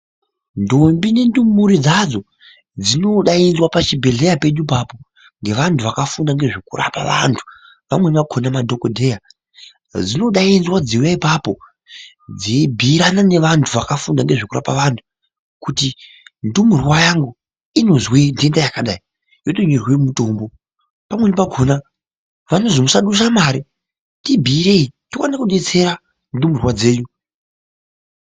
Ndombi nendumure dzadzo, dzinodayidzva pachibhedhleya pedu papo ngevantu vakafunda ngezvekurapa vantu. Amweni akhona madhokodheya, dzinodayidzva dziwuya papo, dziyibiyirana nevantu vakafunda ngezvekurapa vantu, kuti ndumurwa yangu, inozve ndenda yakadayi, yotengerwe mutombo. Pamweni pakhona, vanozi musadusa mari, tibiyireyi, tiwane kudetsera ndumurwa dzenyu.